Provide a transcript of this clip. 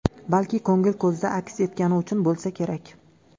Balki, ko‘ngil ko‘zda aks etgani uchun bo‘lsa kerak.